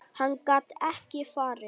Hann gat ekki farið.